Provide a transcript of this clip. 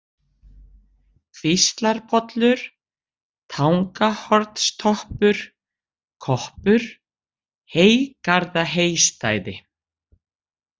Kvíslarpollur, Tangahornstoppur, Koppur, Heygarðaheystæði